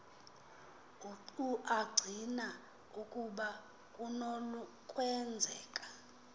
acina ukuba kunokwenzeka